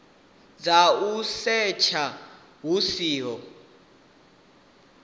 dza u setsha hu siho